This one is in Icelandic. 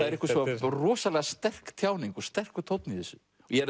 er einhver svo rosalega sterk tjáning og sterkur tónn í þessu